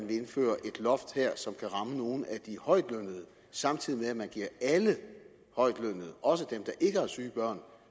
vil indføre et loft som kan ramme nogle af de højtlønnede samtidig med at man giver alle højtlønnede også dem der ikke har syge børn